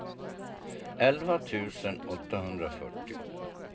elva tusen åttahundrafyrtio